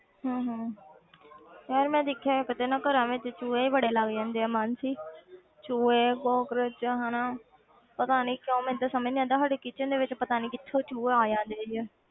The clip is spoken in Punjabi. ਹਮ ਹਮ ਯਾਰ ਮੈਂ ਦੇਖਿਆ ਇੱਕ ਤਾਂ ਨਾ ਘਰਾਂ ਵਿੱਚ ਚੂਹੇ ਬੜੇ ਲੱਗ ਜਾਂਦੇ ਆ ਮਾਨਸੀ ਚੂਹੇ ਕੋਕਰੋਚ ਹਨਾ ਪਤਾ ਨੀ ਕਿਉਂ ਮੈਨੂੰ ਤੇ ਸਮਝ ਨੀ ਆਉਂਦਾ ਸਾਡੇ kitchen ਦੇ ਵਿੱਚ ਪਤਾ ਨੀ ਕਿੱਥੋਂ ਚੂਹੇ ਆ ਜਾਂਦੇ ਹੈਗੇ ਆ